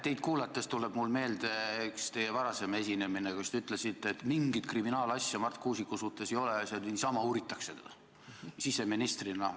Teid kuulates tuleb mulle meelde üks teie varasem esinemine, kui ütlesite, et mingit kriminaalasja Marti Kuusiku suhtes ei ole ja teda uuritakse lihtsalt niisama.